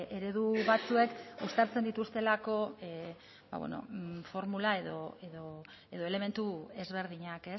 eredu batzuek uztartzen dituztelako formula edo elementu ezberdinak